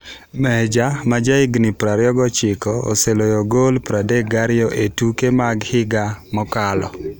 Meja, ma jahigni 26, oseloyo gol 32 e tuke mag higa mokalo.